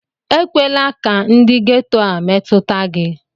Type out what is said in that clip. Ekwela ka ndụ getoo a metụta gị!